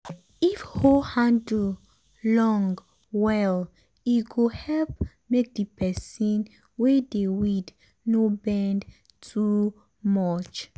if hoe handle long well e go help make the person wey dey weed no bend too much.